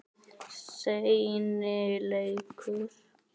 Seinni leikur